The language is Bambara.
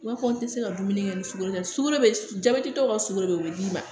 I b'a fɔ n tɛ se ka dumuni kɛ ni sukoro ye dɛ sogo be jabɛti dɔw ka sukaro be yen o be d'i ma